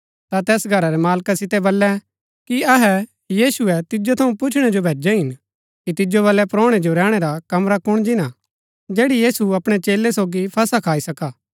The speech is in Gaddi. ता तैस घरा रै मालका सितै बल्लैं कि अहै यीशुऐ तिजो थऊँ पुछणै जो भैजै हिन कि तिजो बलै परोणै जो रैहणै रा कमरा कुण जिन्‍ना हा जैड़ी यीशु अपणै चेलै सोगी फसह खाई सका